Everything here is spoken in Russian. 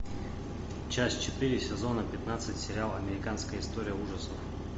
часть четыре сезона пятнадцать сериала американская история ужасов